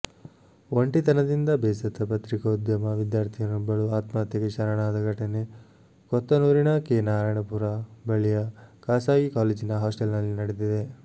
ಒಂಟಿತನದಿಂದ ಬೇಸತ್ತ ಪತ್ರಿಕೋದ್ಯಮ ವಿದ್ಯಾರ್ಥಿನಿಯೊಬ್ಬಳು ಆತ್ಮಹತ್ಯೆಗೆ ಶರಣಾದ ಘಟನೆ ಕೊತ್ತನೂರಿನ ಕೆ ನಾರಾಯಣಪುರ ಬಳಿಯ ಖಾಸಗಿ ಕಾಲೇಜಿನ ಹಾಸ್ಟೆಲ್ನಲ್ಲಿ ನಡೆದಿದೆ